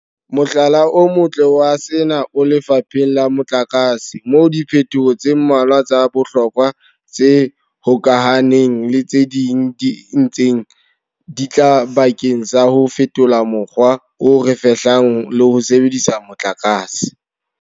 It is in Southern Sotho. Mohlala o motle wa sena o lefapheng la motlakase moo diphetoho tse mmalwa tsa bohlokwa tse hokahaneng le tse ding di ntseng di tla bakeng sa ho fetola mokgwa o re fehlang le ho sebedisa motlakase.